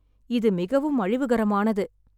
இது மிகவும் அழிவுகரமானது.